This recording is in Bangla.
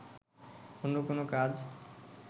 অন্য কোনো কাজ